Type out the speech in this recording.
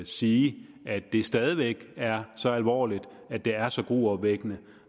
sige at det stadig væk er så alvorligt at det er så gruopvækkende